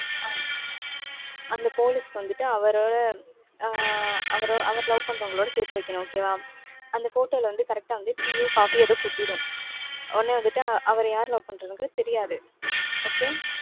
ஆஹ் அந்த police க்கு வந்துட்டு அவரோட அஹ் அவர் அவர love பண்றவங்களோட சேர்த்து வைக்கணும். okay வா. அந்த photo ல வந்து correct ஆ வந்து tea யோ coffee யோ ஏதோ கொட்டிடும். உடனே வந்துட்டு அவர யாரு love பண்றதுங்கிறது தெரியாது. okay